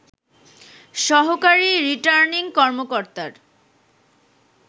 সহকারী রিটার্নিং কর্মকর্তার